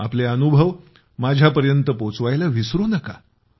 आपले अनुभव माझ्याशी सामायिक करायला विसरू नका